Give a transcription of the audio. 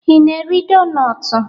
Ị na-eri donutu?